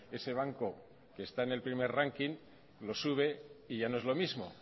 ese banco que está en el primer ranking lo sube y ya no es lo mismo